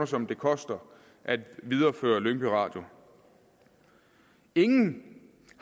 som det koster at videreføre lyngby radio ingen